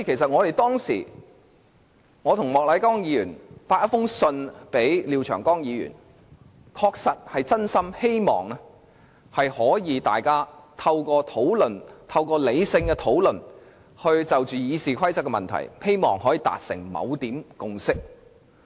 我和莫乃光議員曾致函廖長江議員，確實是真心希望大家可以透過理性討論，就修訂《議事規則》的問題達成共識。